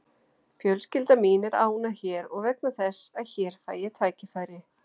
Fjölskylda mín er ánægð hér vegna þess að hér fæ ég tækifæri.